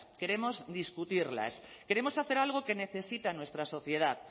queremos discutirlas queremos hacer algo que necesita nuestra sociedad